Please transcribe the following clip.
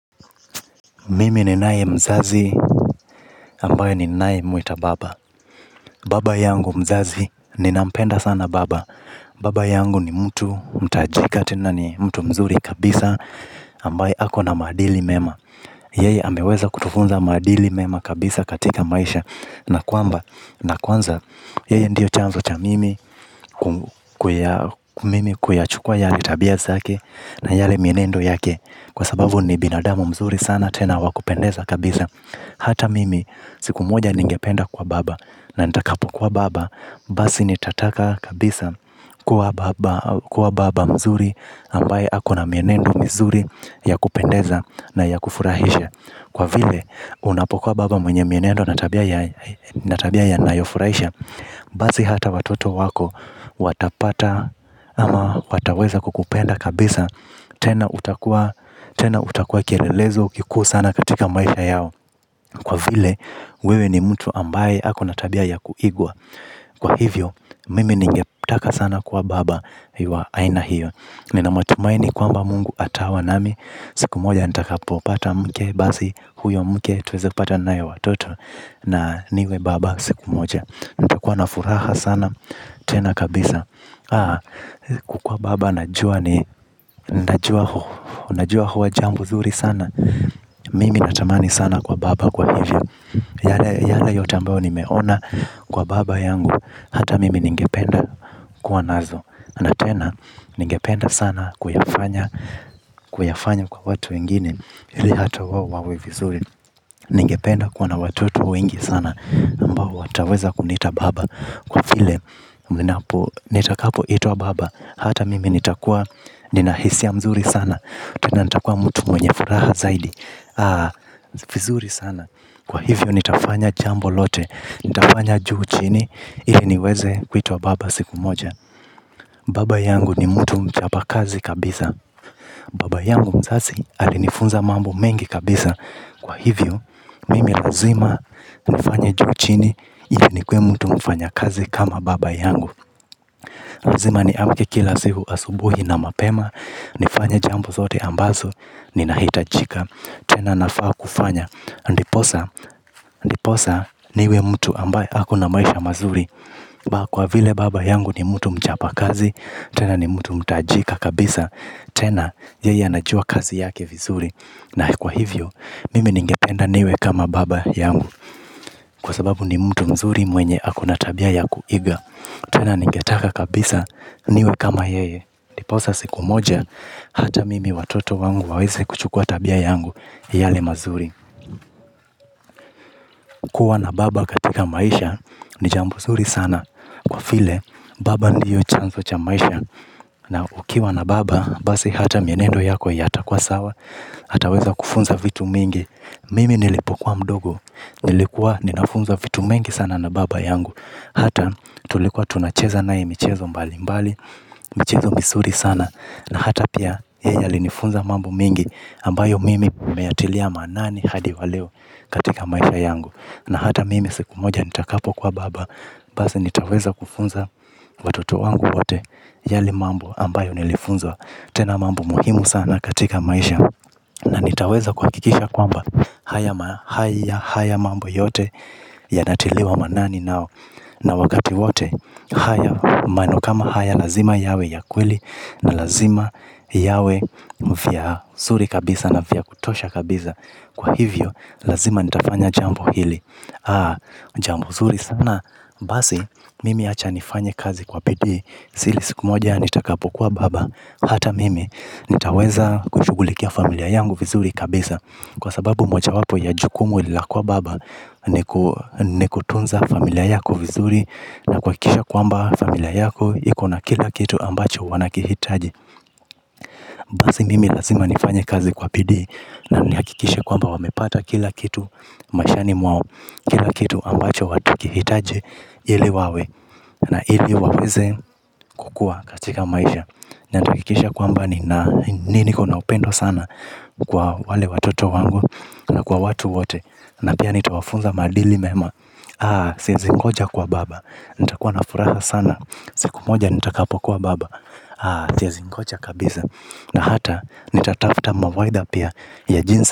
Mimi ninaye mzazi ambaye ninayemwita baba. Baba yangu mzazi ninampenda sana baba. Baba yangu ni mtu mtajika tena ni mtu mzuri kabisa ambaye ako na madili mema. Yeye ameweza kutufunza maadili mema kabisa katika maisha. Na kwamba na kwanza yeye ndio chanzo cha mimi mimi. Kuyachukwa yale tabia zake na yale mienendo yake. Kwa sababu ni binadamu mzuri sana tena wa kupendeza kabisa. Hata mimi siku moja ningependa kuwa baba na nitakapokuwa baba basi nitataka kabisa kuwa baba mzuri ambaye ako na mienendo mizuri ya kupendeza na ya kufurahisha. Kwa vile unapokuwa baba mwenye mienendo na tabia yanayofurahisha basi hata watoto wako watapata ama wataweza kukupenda kabisa. Tena utakuwa kielelezo kikuu sana katika maisha yao. Kwa vile wewe ni mtu ambaye ako na tabia ya kuigwa. Kwa hivyo mimi ningetaka sana kuwa baba wa aina hiyo. Nina matumaini kwamba mungu atawa nami. Siku moja nitakapopata mke basi huyo mke tuweze kupata naye watoto. Na niwe baba siku moja. Nitakuwa na furaha sana. Tena kabisa kukuwa baba najua. Najua huwa jambo zuri sana. Mimi natamani sana kuwa baba kwa hivyo yale yote ambayo nimeona kwa baba yangu ata mimi ningependa kuwa nazo. Na tena ningependa sana kuyafanya kwa watu wengine ili ata wao wawe vizuri. Ningependa kuwa na watoto wengi sana ambao wataweza kuniita baba. Kwa vile nitakapoitwa baba hata mimi nitakuwa nina hisia mzuri sana. Tena nitakuwa mtu mwenye furaha zaidi vizuri sana. Kwa hivyo nitafanya juu chini ili niweze kuitwa baba siku moja. Baba yangu ni mtu mchapa kazi kabisa. Baba yangu mzazi alinifunza mambo mengi kabisa. Kwa hivyo. Mimi lazima nifanye juu chini ili nikuwe mtu mfanyakazi kama baba yangu. Lazima niamke kila siku asubuhi na mapema. Nifanye jambo zote ambazo, ninahitajika tena nafaa kufanya, ndiposa niwe mtu ambaye ako na maisha mazuri. Kwa vile baba yangu ni mtu mchapa kazi. Tena ni mtu mtajika kabisa. Tena, yeye anajua kazi yake vizuri. Na kwa hivyo, mimi ningetenda niwe kama baba yangu. Kwa sababu ni mtu mzuri mwenye ako na tabia ya kuiga tena ningetaka kabisa niwe kama yeye ndiposa siku moja ata mimi watoto wangu waweze kuchukua tabia yangu yale mazuri. Kuwa na baba katika maisha ni jambo nzuri sana kwa vile baba ndio chanzo cha maisha na ukiwa na baba basi ata mienendo yako yatakuwa sawa ataweza kufunza vitu mingi. Mimi nilipokuwa mdogo nilikuwa ninafunzwa vitu mengi sana na baba yangu. Hata tulikuwa tunacheza naye michezo mbali mbali. Michezo mizuri sana na hata pia yeye alinifunza mambo mengi ambayo mimi nimeyatilia maanani hadi wa leo katika maisha yangu. Na hata mimi siku moja nitakapokuwa baba, basi nitaweza kufunza watoto wangu wote yale ambayo nilifunzwa. Tena mambo muhimu sana katika maisha na nitaweza kuhakikisha kwamba haya mambo yote yanatiliwa maanani nao. Na wakati wote, maneno kama haya lazima yawe ya kweli. Na lazima yawe vya zuri kabisa na vya kutosha kabisa. Kwa hivyo, lazima nitafanya jambo hili. Jambo zuri sana, basi, mimi acha nifanye kazi kwa bidii hili siku moja, nitakapokuwa baba, hata mimi. Nitaweza kushughulikia familia yangu vizuri kabisa. Kwa sababu mojawapo ya jukumu la kuwa baba ni kutunza familia yako vizuri. Na kuhakisha kwamba familia yako iko na kila kitu ambacho wanakihitaji. Basi mimi lazima nifanye kazi kwa bidii. Na nihakikishe kwamba wamepata kila kitu. Maishani mwao kila kitu ambacho watakihitaji ili wawe na ili waweze kukua katika maisha nitahakikisha kwamba niko na upendo sana kwa wale watoto wangu na kwa watu wote. Na pia nitawafunza maadili mema. Siwezi ngoja kuwa baba. Nitakuwa na furaha sana siku moja nitakapokuwa baba. Siezi ngoja kabisa. Na hata nitatafuta mawaidha pia ya jinsi.